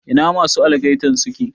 Ina masu algaitan suke?